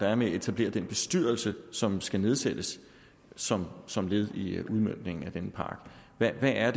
er med at etablere den bestyrelse som skal nedsættes som som led i udmøntningen af denne pakke hvad er